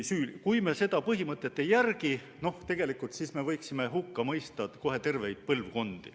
Kui me seda põhimõtet ei järgi, siis me võiksime hukka mõista kohe terveid põlvkondi.